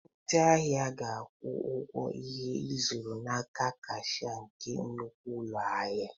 Ndị ahịa ga-akwụ ụgwọ ihe ịzụrụ n'aka kashia nke nnukwu ụlọ ahịa.